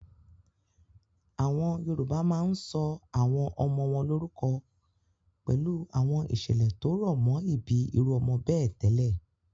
Àwọn Yorùbá máa ń sọ àwọn ọmọ wọn lórúkọ pẹ̀lú àwọn ìṣẹ̀lẹ̀ tó rọ̀ mọ́ ìbí irú ọmọ bẹ́ẹ̀ tẹ́lẹ̀.